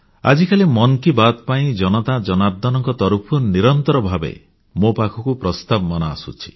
ଆଜିକାଲି ମନ୍ କି ବାତ୍ ପାଇଁ ଜନତା ଜନାର୍ଦ୍ଦନଙ୍କ ତରଫରୁ ନିରନ୍ତର ଭାବେ ମୋ ପାଖକୁ ପ୍ରସ୍ତାବମାନ ଆସୁଛି